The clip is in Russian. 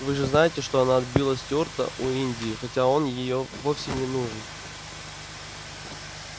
вы же знаете что она отбила стюарта у индии хотя он её вовсе не нужен